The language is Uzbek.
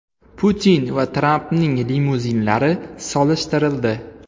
Putin va Trampning limuzinlari solishtirildi.